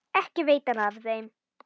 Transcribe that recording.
Ekki veitir þeim af.